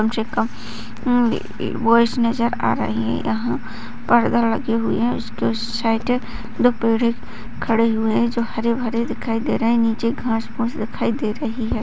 छे उम्म वॉइस नजर आ रहें हैं यहाँ परदा लगे हुए हैं उसके साइड दो पेड़ें खड़े हुए हैं जो हरे-भरे दिखाई दे रहें हैं निचे घास-फूस दिखाई दे रही है।